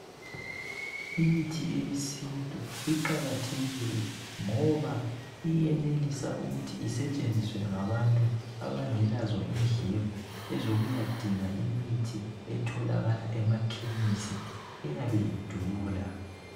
Imithi eyesinstu iqakathekile ngoba iyenelisa ukuthi isetshenziswe ngabantu abangelezo indleko ezokuyadinga imithi etholakala emakhemisi eyabe idula.